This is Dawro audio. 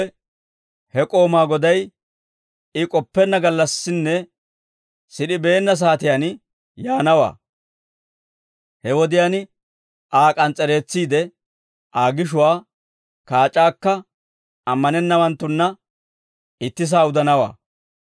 he k'oomaa goday, I k'oppenna gallassinne sid'ibeenna saatiyaan yaanawaa; he wodiyaan Aa k'ans's'ereetsiide, Aa gishuwaa kaac'aakka ammanennawanttunna ittisaa udanawaa.